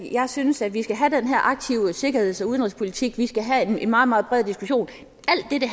jeg synes at vi skal have den her aktive sikkerheds og udenrigspolitik vi skal have en meget meget bred diskussion